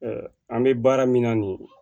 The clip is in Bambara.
an bɛ baara min na nin ye